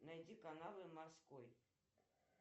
найди каналы морской